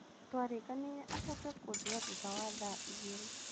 Tũarĩkanĩire acoke kũnjoya thutha wa thaa igĩrĩ.